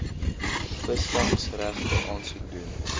visvangsregte aansoek doen